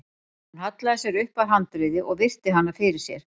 Hann hallaði sér upp að handriði og virti hana fyrir sér.